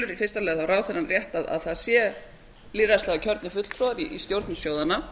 í fyrsta lagi telur ráðherrann rétt að það sé lýðræðislega kjörnir fulltrúar í stjórnum sjóðanna